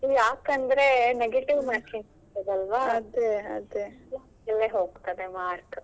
ಯಾಕಂದ್ರೆ negative marking ಇರ್ತದಲ್ಲ ಅಲ್ಲಿಯೇ ಹೋಗ್ತದೆ mark.